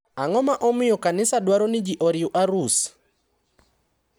Ang`o ma omiyo kanisa dwaro ni ji oriw arus?